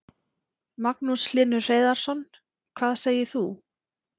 Magnús Hlynur Hreiðarsson: Hvað segir þú?